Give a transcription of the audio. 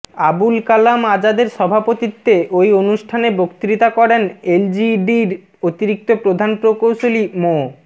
আবুল কালাম আজাদের সভাপতিত্বে ওই অনুষ্ঠানে বক্তৃতা করেন এলজিইডির অতিরিক্ত প্রধান প্রকৌশলী মো